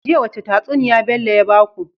Jiya wace tatsuniya Bello ya baku?